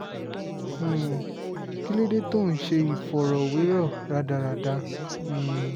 um kí ló dé tó ò ń ṣe ìfọ̀rọ̀wérọ̀ rádaràda um